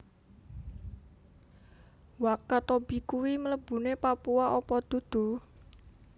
Wakatobi kui mlebune Papua opo dudu?